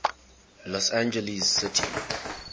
los angeles city